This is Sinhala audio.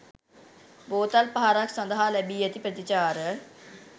බෝතල් පහරක් සඳහා ලැබී ඇති ප්‍රතිචාර.